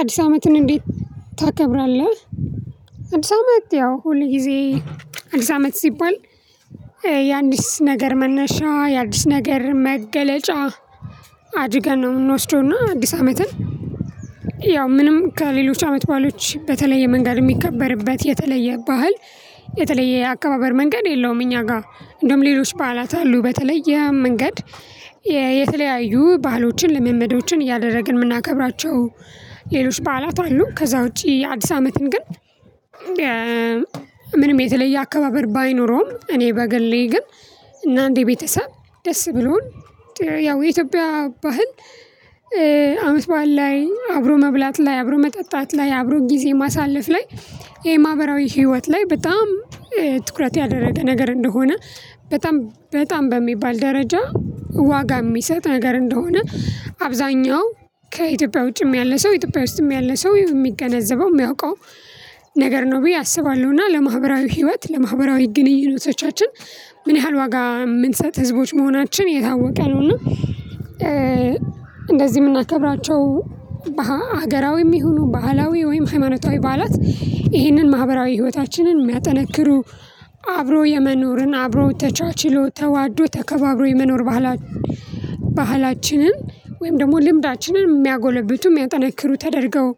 አዲስ አመትን እንዴት ታከብራለህ? አዲስ አመት ያው ሁልጊዜ አዲስ አመት ሲባል የአዲስ ነገር መነሻ የአዲስ ነገር መገለጫ አድርገን ነው የምንወስደው። እና አዲስ አመትን ያው ምንም ከሌሎች አመት በዓሎች በተለየ መንገድ የሚከበርበት የተለየ ባህል የተለየ አከባበር መንገድ የለውም። እኛ ጋር እንደውም ሌሎች በዓላት አሉ በተለያየ መንገድ የተለያዩ ባህሎችን ልምምዶችን እያደረግን የምናከብራቸው። ሌሎች በዓላት አሉ ከዛ ውጪ አዲስ አመትን ግን ምንም የተለየ አከባበር ባይኖረውም። እኔ በግሌ ግን እና እንደ ቤተሰብ ደስ ብሎን ያው የኢትዮጵያ ባህል። አመት በዓል ላይ አብሮ መብላት ላይ አብሮ መጠጣት ላይ አብሮ ጊዜ ማሳለፍ ላይ። ይሄ ማህበራዊ ህይወት ላይ በጣም ትኩረት ያደረገ ነገር እንደሆነ። በጣም በጣም በሚባል ደረጃ ዋጋ የሚሰጥ ነገር እንደሆነ። አብዛኛው ከኢትዮጵያ ውጪም ያለ ሰው ኢትዮጵያ ውስጥም ያለ ሰው የሚገነዘበው የሚያውቀው ነገር ነው ብዬ አስባለሁ። እና ለማህበራዊ ህይወት ለማህበራዊ ግንኙነቶቻችን ምን ያህል ዋጋ የምንሰጥ ህዝቦች መሆናችን የታወቀ ነው። እና እንደዚህ የምናከብራቸው ሀገራዊም ይሁኑ ባህላዊ ወይም ሃይማኖታዊ በዓላት ይሄንን ማህበራዊ ህይወታችንን የሚያጠነክሩ አብሮ የመኖርን አብሮ ተቻችሎ ተዋዶ ተከባብሮ የመኖር ባህላችንን ወይም ደግሞ ልምዳችንን የሚያጎለብቱ የሚያጠነክሩ ተደርገው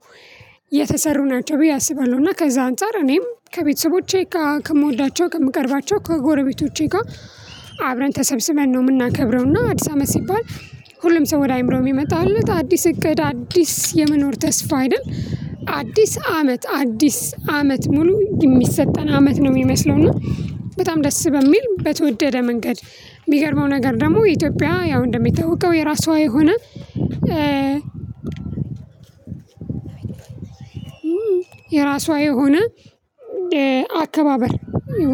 የተሰሩ ናቸው ብዬ አስባለሁ። እና ከዛ አንፃር እኔም ከቤተሰቦቼ ጋር ከምወዳቸው ከምቀርባቸው ከጎረቤቶቼ ጋር አብረን ተሰብስበን ነው የምናከብረው። እና አዲስ አመት ሲባል ሁሉም ሰው ወደ አይምሮው የሚመጣለት አዲስ እቅድ አዲስ የመኖር ተስፋ አይደል? አዲስ አመት አዲስ አመት ሙሉ የሚሰጠን አመት ነው የሚመስለው እና። በጣም ደስ በሚል በተወደደ መንገድ። የሚገርመው ነገር ደግሞ የኢትዮጵያ ያው እንደሚታወቀው የራሷ የሆነ የራሷ የሆነ አከባበር።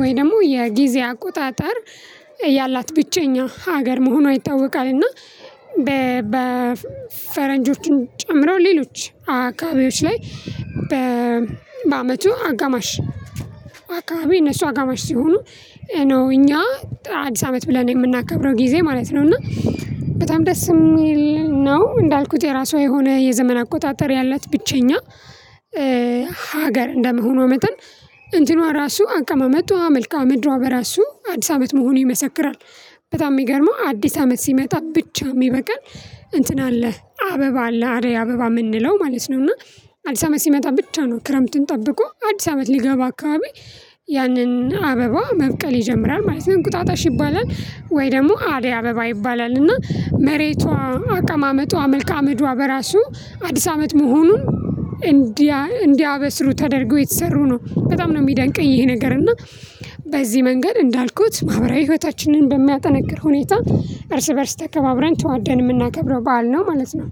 ወይ ደግሞ የጊዜ አቆጣጠር ያላት ብቸኛ ሀገር መሆኗ ይታወቃል። እና በፈረንጆቹን ጨምረው ሌሎች አካባቢዎች ላይ በአመቱ አጋማሽ አካባቢ እነሱ አጋማሽ ሲሆኑ ነው እኛ አዲስ አመት ብለን የምናከብረው ጊዜ ማለት ነው። እና በጣም ደስ የሚል ነው። እንዳልኩት የራሷ የሆነ የዘመን አቆጣጠር ያላት ብቸኛ ሀገር እንደመሆኗ መጠን እንትኗ ራሱ አቀማመጧ መልከአ ምድሯ በራሱ አዲስ አመት መሆኑ ይመሰክራል። በጣም የሚገርመው አዲስ አመት ሲመጣ ብቻ የሚበቅል እንትን አለ አበባ አለ አደይ አበባ የምንለው ማለት ነው። እና አዲስ አመት ሲመጣ ብቻ ነው ክረምትን ጠብቆ አዲስ አመት ሊገባ አካባቢ ያንን አበባ መብቀል ይጀምራል ማለት ነው። እንቁጣጣሽ ይባላል ወይ ደግሞ አደይ አበባ ይባላል። እና መሬቷ አቀማመጧ መልከአምድሯ በራሱ አዲስ አመት መሆኑን እንዲያበስሩ ተደርጎ የተሰሩ ነው። በጣም ነው የሚደንቀኝ ይሄ ነገር እና። በዚህ መንገድ እንዳልኩት ማህበራዊ ህይወታችንን በሚያጠናክር ሁኔታ እርስ በእርስ ተከባብረን ተዋደን የምናከብረው በዓል ነው ማለት ነው።